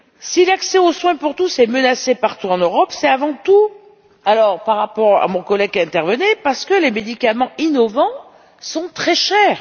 Si l'accès aux soins pour tous est menacée partout en Europe c'est avant tout par rapport à mon collègue qui est intervenu parce que les médicaments innovants sont très chers.